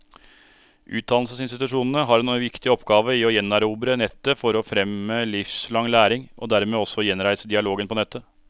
Utdannelsesinstitusjonene har en viktig oppgave i å gjenerobre nettet for å fremme livslang læring, og dermed også gjenreise dialogen på nettet.